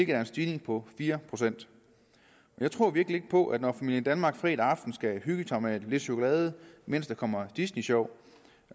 er en stigning på fire procent jeg tror virkelig ikke på at når familien danmark fredag aften skal hygge sig med lidt chokolade mens der kommer disney sjov